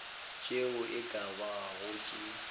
tše e ka bago tše